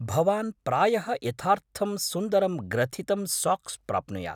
भवान् प्रायः यथार्थं सुन्दरं ग्रथितं साक्स् प्राप्नुयात्।